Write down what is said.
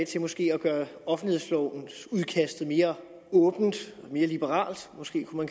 til måske at gøre offentlighedslovens udkast mere åbent og mere liberalt kunne måske